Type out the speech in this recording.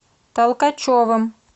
толкачевым